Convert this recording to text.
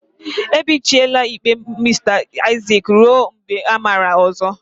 Ebichiela ikpe Mr Isaac ruo mgbe amara ọzọ.